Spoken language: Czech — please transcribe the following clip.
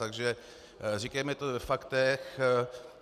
Takže říkejme to ve faktech.